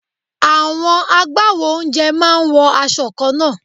Àwọn agbawo oúnjẹ máa ń wọ aṣọ kanna.